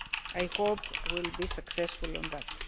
I hope we will be successful on that.